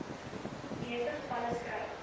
meeste gevalle skryf